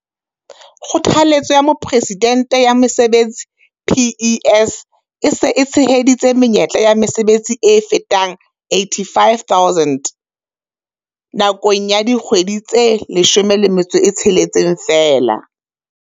Kgothaletso ya Mopresidente ya Mesebetsi, PES, e se e tsheheditse menyetla ya mesebetsi e fetang 850 000 nakong ya dikgwedi tse 16 feela.